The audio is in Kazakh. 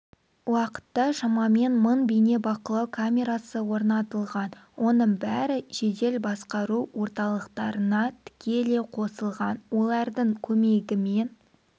уақытта шамамен мың бейнебақылау камерасы орнатылған оның бәрі жедел басқару орталықтарына тікелей қосылған олардың көмегімен